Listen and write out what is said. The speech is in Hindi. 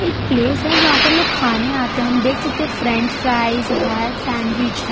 एक प्लेस हैं जहां पर लोग खाने आते है हम देख सकते हैं फ्रेंचराइज है सैंडविच हैं।